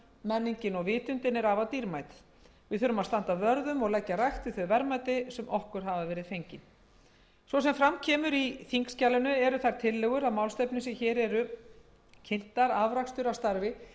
menningin og vitundin er afar dýrmæt við þurfum að standa vörð um og leggja rækt við þau verðmæti sem okkur hafa verið fengin svo sem fram kemur í þingskjalinu eru þær tillögur að málstefnu sem hér eru kynntar afrakstur af starfi